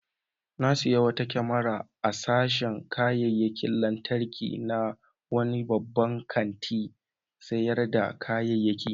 Na sayi wata kyamara a sashin kayayyakin lantarki na wani babban kantin sayar da kayayyaki.